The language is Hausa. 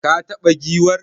Ka taba giwar?